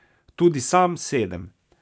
Tudi sam sedem.